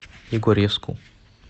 егорьевску